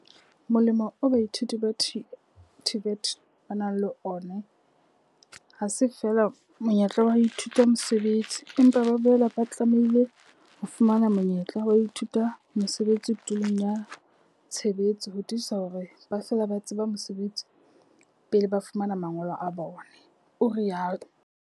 Molemo oo baithuti ba TVET ba nang le ona ha se feela monyetla wa ho ithuta mosebetsi, empa ba boela ba tlamehile ho fumana monyetla wa ho ithuta mosebetsi tulong ya tshebetso ho tiisa hore ba fela ba tseba mosebetsi pele ba fumana mangolo a bona, o rialo.